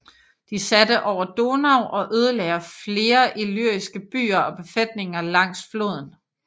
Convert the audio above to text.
De satte over Donau og ødelagde flere illyriske byer og befæstninger langs floden